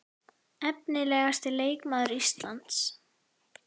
Efnilegasti leikmaður Íslands?